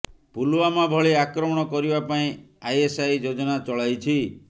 ପୁଲୱାମା ଭଳି ଆକ୍ରମଣ କରିବା ପାଇଁ ଆଇଏସ୍ଆଇ ଯୋଜନା ଚଳାଇଛି